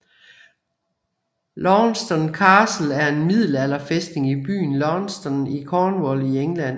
Launceston Castle er en middelalderfæstning i byen Launceston i Cornwall i England